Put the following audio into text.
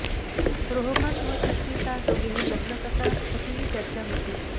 रोहमन व सुश्मिता दोघेही लग्न करणार अशीही चर्चा होतीच